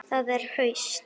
Það er haust.